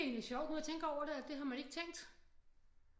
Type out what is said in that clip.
Egentlig sjovt nu jeg tænker over det det har man ikke tænkt